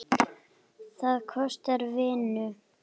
Það kostar vinnu!